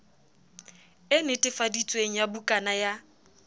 e netefaditsweng ya bukana ya